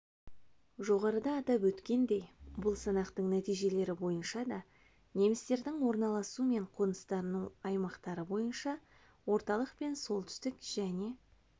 жоғарыда атап өткендей бұл санақтың нәтижелері бойынша да немістердің орналасу мен қоныстану аймақтары бойынша орталық пен солтүстік және